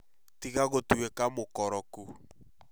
Tiga gũtuĩka mũkoroku